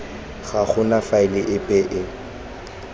ga gona faele epe e